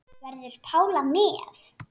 Verður Pála með?